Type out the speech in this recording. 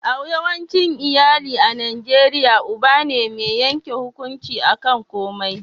a yawancin iyali a najeriya uba ne mai yanke hukunci a kan komai